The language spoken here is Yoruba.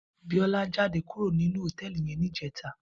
Biola jàdé kúró ninú hótèlí yèn nijètá